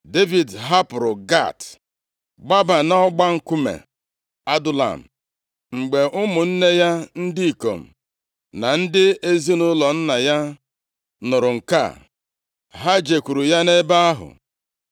Devid hapụrụ Gat gbaba nʼọgba nkume Adulam. Mgbe ụmụnne ya ndị ikom na ndị ezinaụlọ nna ya nụrụ nke a, ha jekwuru ya nʼebe ahụ.